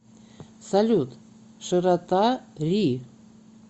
салют широта ри